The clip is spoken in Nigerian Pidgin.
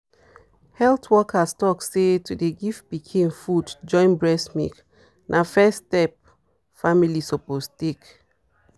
health workers talk say to dey give pikin food join breast milk na first step family suppose take.